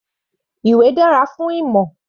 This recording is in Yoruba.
Ìwé dára fún ìmọ̀.